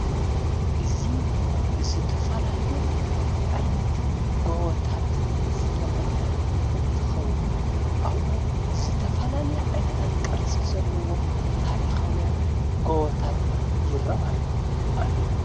እዙ ብዝተፈላልዩ ዓይነት ጎወታት ዝተመልአ እንትኸውን ኣብኡ ዘተፈላልየ ዓይነታት ቀርጽ ዘለዎም ታሪኻውያን ጎበታት ይረአዩ ኣለዉ።